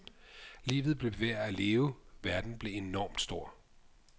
Livet blev værd at leve, verden blev enormt stor.